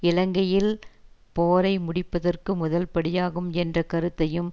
இலங்கையில் போரை முடிப்பதற்கு முதல் படியாகும் என்ற கருத்தையும்